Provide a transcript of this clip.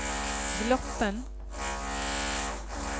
Gloppen